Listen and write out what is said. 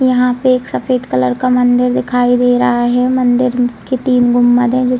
यहाँ पे एक सफ़ेद कलर का मंदिर दिखाई दे रहा है मंदिर के तीन गुंबद है जो --